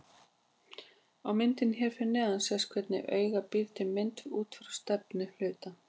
Á myndinni hér fyrir neðan sést hvernig auga býr til mynd út frá stefnu hluta.